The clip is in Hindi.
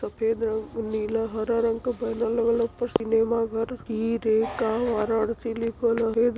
तो फिर नीला हरा रंग क बैनर लगल ह ऊपर सिनेमा घर वाराणसी लिखल ह रे --